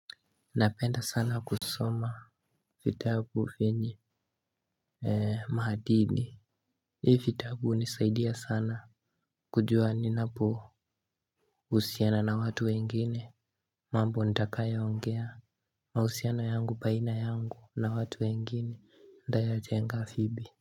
Napenda sana kusoma vitabu vyenye Maadili. Hii vitabu hunisaidia sana kujua ninapohusiana na watu wengine. Mambo nitakayo ongea mahusiana yangu baina yangu na watu wengine Ndaya jenga afibi.